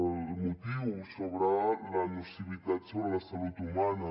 el motiu sobre la nocivitat sobre la salut humana